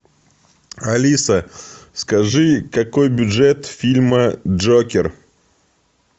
алиса скажи какой бюджет фильма джокер